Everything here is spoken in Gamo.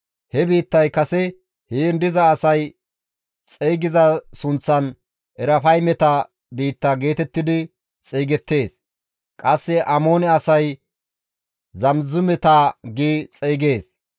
[He biittay kase heen diza asay xeygiza sunththan Erafaymeta biitta geetettidi xeygettees; qasse Amoone asay Zamizumeta gi xeygees.